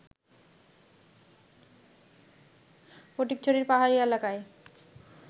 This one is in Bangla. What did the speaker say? ফটিকছড়ির পাহাড়ি এলাকায়